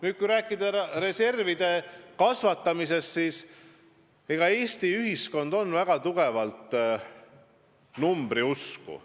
Kui üldse rääkida reservide kasvatamisest, siis Eesti ühiskond on väga tugevalt numbriusku.